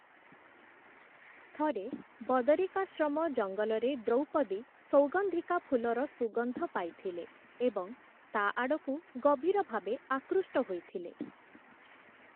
ଥରେ ବଦରିକାଶ୍ରମ ଜଙ୍ଗଲରେ ଦ୍ରୌପଦୀ ସୌଗନ୍ଧିକା ଫୁଲର ସୁଗନ୍ଧ ପାଇଥିଲେ ଏବଂ ତା' ଆଡ଼କୁ ଗଭୀର ଭାବେ ଆକୃଷ୍ଟ ହୋଇଥିଲେ ।